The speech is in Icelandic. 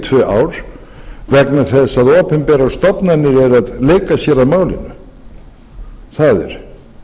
tvö ár vegna þess að opinberar stofnanir eru að leika sér að málinu það er